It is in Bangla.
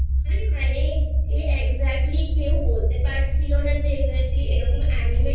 মানে যে Exactly কেউ বলতে পারছিলো না যে Exactly এরকম Anime